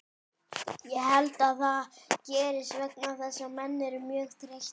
Ég held að það gerist vegna þess að menn eru mjög þreyttir.